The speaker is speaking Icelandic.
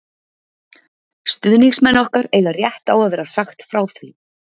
Stuðningsmenn okkar eiga rétt á að vera sagt frá því.